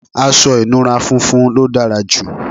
aṣọ ìnura funfun ló dára jù